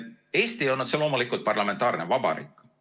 Eesti on otse loomulikult parlamentaarne vabariik.